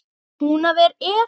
Húnaver er!